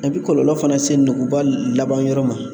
A bɛ kɔlɔlɔ fana lase nuguba labanyɔrɔ ma